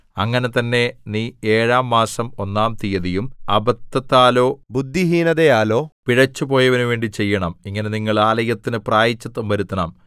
അങ്ങനെ തന്നെ നീ ഏഴാം മാസം ഒന്നാം തീയതിയും അബദ്ധത്താലോ ബുദ്ധിഹീനതയാലോ പിഴച്ചു പോയവനു വേണ്ടി ചെയ്യണം ഇങ്ങനെ നിങ്ങൾ ആലയത്തിന് പ്രായശ്ചിത്തം വരുത്തണം